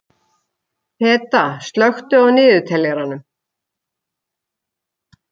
Peta, slökktu á niðurteljaranum.